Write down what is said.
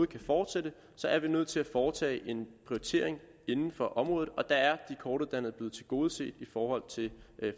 kan fortsætte så er vi nødt til at foretage en prioritering inden for området og der er de kortuddannede blevet tilgodeset i forhold til